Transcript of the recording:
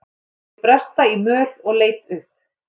Hann heyrði bresta í möl og leit upp.